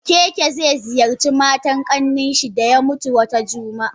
Okeke ze ziyarci matan Kanninshi daya mutu Wata jumaan.